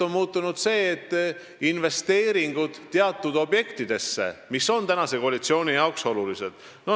On muutunud see, et investeeringud teatud objektidesse on praeguse koalitsiooni jaoks olulised.